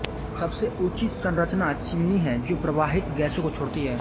सबसे ऊँची संरचना चिमनी है जो प्रवाहित गैसों को छोड़ती है